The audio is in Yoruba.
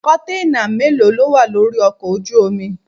Kọ̀ǹténà mélòó ló wà lórí ọkọ̀ ojú omi?